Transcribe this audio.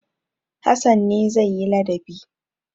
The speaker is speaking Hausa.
Hassan ne zai yi ladabi.